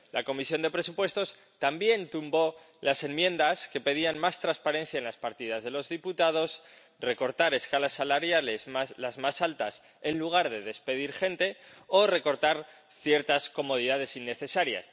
La Comisión de Presupuestos también tumbó las enmiendas que pedían más transparencia en las partidas de los diputados, recortar escalas salariales —las más altas— en lugar de despedir gente, o recortar ciertas comodidades innecesarias.